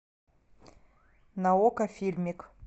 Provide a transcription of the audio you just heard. на окко фильмик